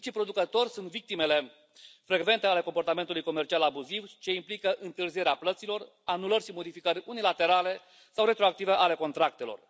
Micii producători sunt victimele frecvente ale comportamentului comercial abuziv ce implică întârzierea plăților, anulări și modificări unilaterale sau retroactive ale contractelor.